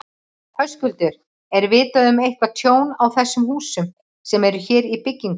Höskuldur: Er vitað um eitthvað tjón á þessum húsum sem eru hér í byggingu?